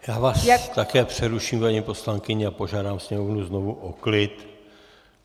Já vás také přeruším, paní poslankyně, a požádám sněmovnu znovu o klid.